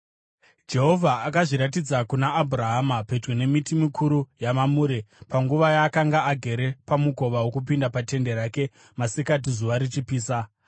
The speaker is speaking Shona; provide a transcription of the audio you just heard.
Jehovha akazviratidza kuna Abhurahama pedyo nemiti mikuru yeMamure panguva yaakanga agere pamukova wokupinda patende rake masikati zuva richipisa.